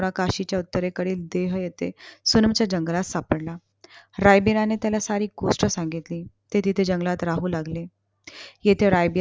काशीच्या उत्तरेकडे देह येतेय सुनमच्या जंगलात सापडला. रायबिराने त्याला सारी गोष्ट सांगितली. ते तिथे जंगलात राहू लागले. येथे रायबीरा